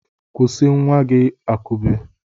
Kụsị nwa gị akụbe!